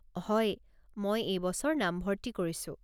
হয়, মই এই বছৰ নাম ভৰ্তি কৰিছো।